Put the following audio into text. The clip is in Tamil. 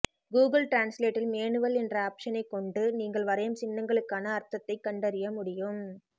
கூகுள் டிரான்ஸ்லேட்டில் மேனுவல் என்ற ஆப்ஷனை கொண்டு நீங்கள் வரையும் சின்னங்களுக்கான அர்த்தத்தை கண்டறிய முடியும்